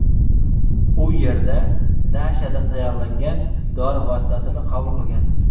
U yerda nashadan tayyorlangan dori vositasini qabul qilgan.